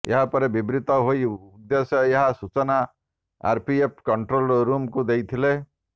ଏହାପରେ ବିବ୍ରତ ହୋଇ ଉଦେଶ୍ୟ ଏହାର ସୂଚନା ଆରପିଏଫ୍ କଣ୍ଟ୍ରୋଲ ରୁମ୍କୁ ଦେଇଥିଲେ